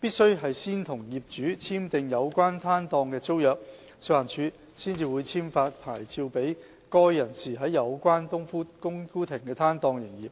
必須先和業主簽訂有關攤檔的租約，食環署才會簽發牌照給該人士在有關"冬菇亭"的攤檔營業。